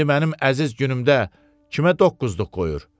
İndi mənim əziz günümdə kimə doqquzluq qoyur?